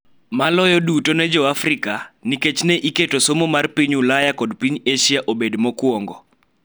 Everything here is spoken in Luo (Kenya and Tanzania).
Maloyo duto ne Joafrika, nikech ne iketo somo mar piny Ulaya kod piny Asia obed mokuongo .